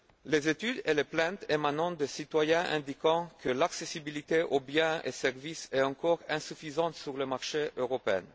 Les études et les plaintes émanant des citoyens indiquent que l'accessibilité aux biens et services est encore insuffisante sur le marché européen.